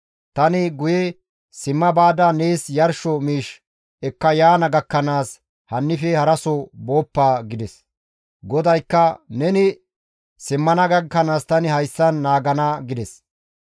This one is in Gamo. Tani guye simma baada nees yarsho miish ekka yaana gakkanaas hannife haraso booppa» gides. GODAYKKA, «Neni simmana gakkanaas tani hayssan naagana» gides.